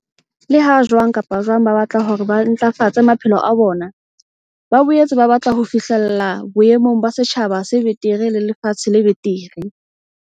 Leha jwang kapa jwang ba batla hore ba ntlafatse maphelo a bona, ba boetse ba batla ho fi hlella boemong ba setjhaba se betere le lefatshe le betere.